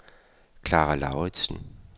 Klara Lauritsen